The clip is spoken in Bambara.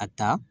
A ta